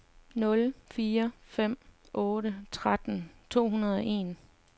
nul fire fem otte tretten to hundrede og en